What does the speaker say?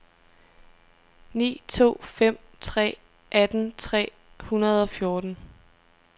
ni to fem tre atten tre hundrede og fjorten